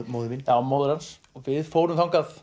móðir mín já móðir hans við fórum þangað